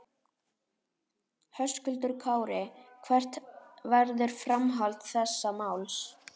Höskuldur Kári: Hvert verður framhald þessa máls?